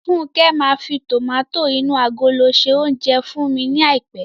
Fúnkẹ́ máa fi tòmátò inú agolo dín se oúnjẹ fún mi ní àìpé.